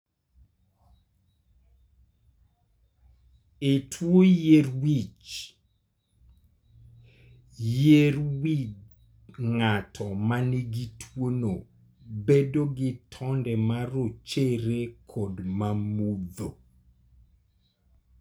E tuo yier wich, yier wi ng'ato ma nigi tuwono bedo gi tonde ma rochere kod ma mudho.